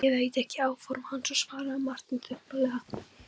Ég veit ekki áform hans, svaraði Marteinn þumbaralega.